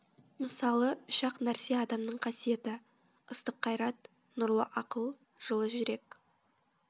мысалы үш ақ нәрсе адамның қасиеті ыстық қайрат нұрлы ақыл жылы жүрек